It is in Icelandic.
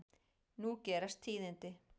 Nú gerast tíðindi.